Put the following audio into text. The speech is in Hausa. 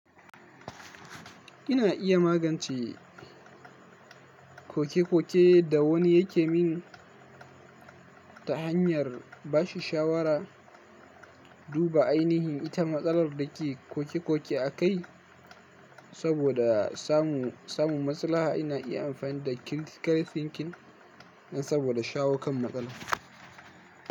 Ina iya magance kokekoke da wani yake min ta hanyar bashi shawara. Duba ainihin ita matsalar da ke kokekoke a kai saboda samu, samu maslaha. Ina iya amfani da critical thinking nan saboda shawo kan matsala.